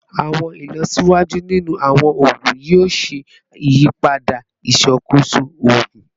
Awọn ilọsiwaju ninu awọn oogun yoo ṣe iyipada iṣakoso oogun